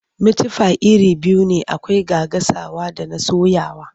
Mitifai iri biyu ne akwai na gasawa da na soyawa.